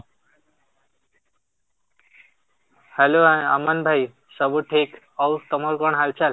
hello Aman ଭାଇ, ସବୁ ଠିକ? ଆଉ ତମର କଣ ହାଲଚାଲ?